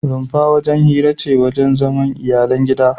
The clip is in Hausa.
Rumfa wajen hira ce ko wajen zaman iyalan gida